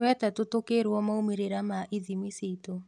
Wetatũ tũkĩrwo maumĩrĩra ma ithimi citũ.